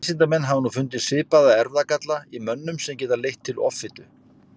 vísindamenn hafa nú fundið svipaða erfðagalla í mönnum sem geta leitt til offitu